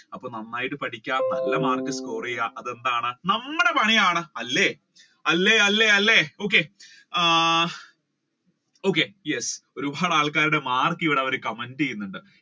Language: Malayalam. അപ്പൊ നന്നായിട്ട് പഠിക്കുക നല്ല mark ഉകൾ score ചെയ്യുക അത് എന്താണ് നമ്മുടെ പണിയാണ് അല്ലെ അല്ലെ അല്ലെ അല്ലെ ഒരുപാട് ആൾക്കാരുടെ marl ഇവിടെ comment ചെയ്യുന്നുണ്ട്.